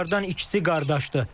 Onlardan ikisi qardaşdır.